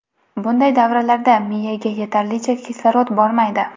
Bunday davrlarda miyaga yetarlicha kislorod bormaydi.